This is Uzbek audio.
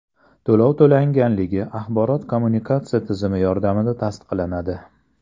To‘lov to‘langanligi axborot-kommunikatsiya tizimi yordamida tasdiqlanadi.